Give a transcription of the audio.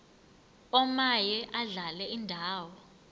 omaye adlale indawo